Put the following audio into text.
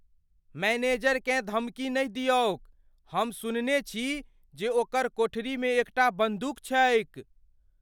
मैनेजरकेँ धमकी नहि दिऔक। हम सुनने छी जे ओकर कोठरी मे एकटा बन्दूक छैक।